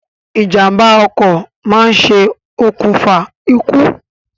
Ìjàmbá ọkọ̀ máa ṣe òkùnfà ikú